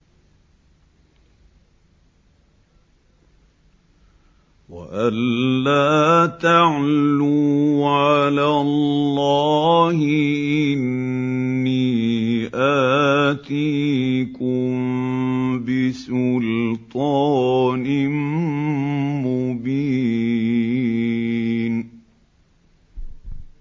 وَأَن لَّا تَعْلُوا عَلَى اللَّهِ ۖ إِنِّي آتِيكُم بِسُلْطَانٍ مُّبِينٍ